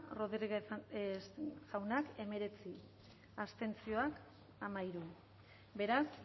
rodríguez jauna emeretzi abstenzioak amairu beraz